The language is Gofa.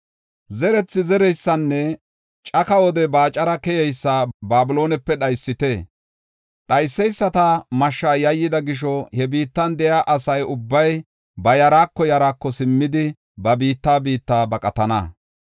Zerethi zereysanne caka wode baacara keyeysa Babiloonepe dhaysite. Dhayseysata mashshaa yayyida gisho, he biittan de7iya asa ubbay ba yaraako yaraako simmidi ba biitta biitta baqatana.